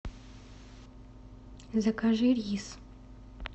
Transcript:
закажи рис